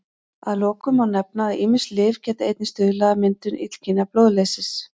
Að lokum má nefna að ýmis lyf geta einnig stuðlað að myndun illkynja blóðleysis.